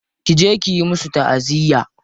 Ki je kiyi musu ta'aziyya.